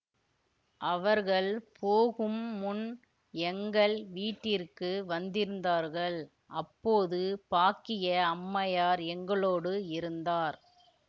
அவர்கள் போகும்முன் எங்கள் வீட்டிற்கு வந்திருந்தார்கள் அப்போது பாக்கிய அம்மையார் எங்களோடு இருந்தார்